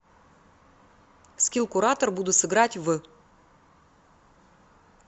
скилл куратор буду сыграть в